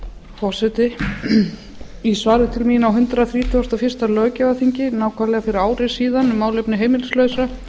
forseti í svari til mín á hundrað þrítugasta og fyrsta löggjafarþingi nákvæmlega fyrir ári síðan um málefni heimilislausra